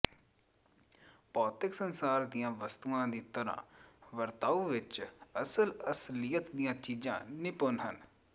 ਭੌਤਿਕ ਸੰਸਾਰ ਦੀਆਂ ਵਸਤੂਆਂ ਦੀ ਤਰ੍ਹਾਂ ਵਰਤਾਓ ਵਿੱਚ ਅਸਲ ਅਸਲੀਅਤ ਦੀਆਂ ਚੀਜਾਂ ਨਿਪੁੰਨ ਹਨ